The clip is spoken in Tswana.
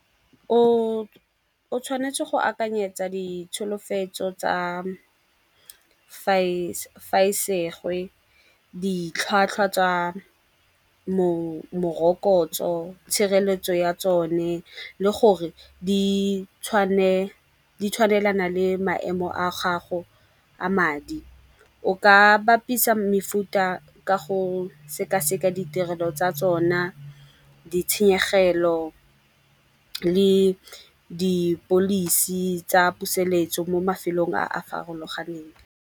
O tshwanetse go akanyetsa ditsholofetso tsa fa e segwe ditlhwatlhwa tsa morokotso, tshireletso ya tsone le gore di tshwanelana le maemo a gago a madi. O ka bapisa mefuta ka go sekaseka ditirelo tsa tsona, di tshenyegelo le di policy tsa puseletso mo mafelong a a farologaneng.